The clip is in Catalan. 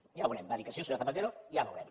ja ho veurem va dir que sí el senyor zapatero ja veurem